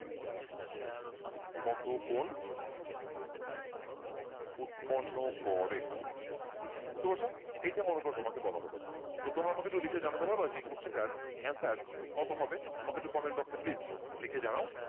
কত কোণ উৎপন্ন করে বুঝতে পারছ? এইটা মনে করো তোমাকে বলা হলো, তো তোমরা আমাকে একটু লিখে জানাতে পারবা যে এই question টার answer কত হবে? আমাকে একটু comment box এ please লিখে জানাও।